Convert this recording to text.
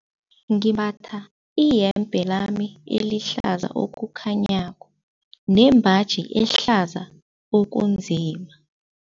Ngimbatha iyembe lami elihlaza okukhanyako nembaji ehlaza okunzima.